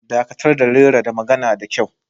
Dakatar da rera da magana da kyau